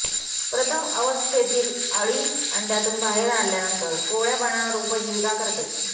प्रथम अवस्थेतील अळी अंड्यातून बाहेर आल्यानंतर कोवळ्या पानांवर उपजीविका करते